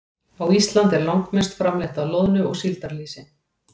Á Íslandi er langmest framleitt af loðnu- og síldarlýsi.